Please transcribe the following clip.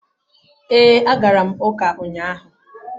Ee, agara m uka unyahu